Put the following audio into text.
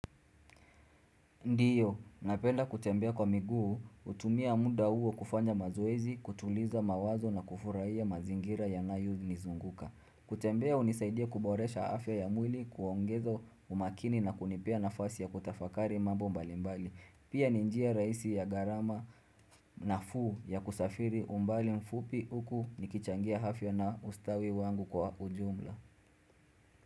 Ndiyo, napenda kutembea kwa miguu, hutumia muda huo kufanya mazoezi, kutuliza mawazo na kufurahia mazingira yanayonizunguka. Kutembea hunisaidia kuboresha afya ya mwili, kuongeza umakini na kunipea nafasi ya kutafakari mambo mbalimbali. Pia ni njia rahisi ya garama nafuu ya kusafiri umbali mfupi huku nikichangia afya na ustawi wangu kwa ujumla.